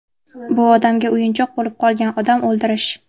Bu odamga o‘yinchoq bo‘lib qolgan odam o‘ldirish.